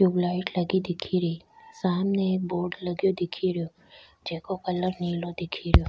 Tubelight लगी दिख री सामने एक बोर्ड लगे दिख रो जेको कलर नीलो दिख रो।